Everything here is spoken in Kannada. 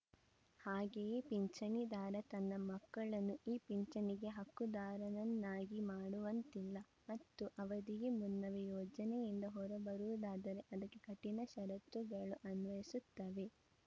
ಹಾಗೆಯೇ ಪಿಂಚಣಿದಾರ ತನ್ನ ಮಕ್ಕಳನ್ನು ಈ ಪಿಂಚಣಿಗೆ ಹಕ್ಕುದಾರನನ್ನಾಗಿ ಮಾಡುವಂತಿಲ್ಲ ಮತ್ತು ಅವಧಿಗೆ ಮುನ್ನವೇ ಯೋಜನೆಯಿಂದ ಹೊರಬರುವುದಾದರೆ ಅದಕ್ಕೆ ಕಠಿಣ ಷರತ್ತುಗಳು ಅನ್ವಯಿಸುತ್ತವೆ